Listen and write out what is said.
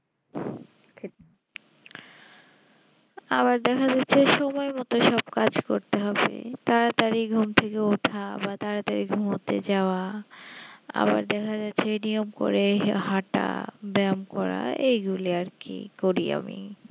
আবার দেখা যাচ্ছে সময়মতো সব কাজ করতে হবে তাড়াতাড়ি ঘুম থেকে উঠা বা তাড়াতাড়ি ঘুমোতে যাওয়া আমাদের হরে সেই নিয়ম করে হাটা ব্যায়াম করা এগুলো আর কি করি আমি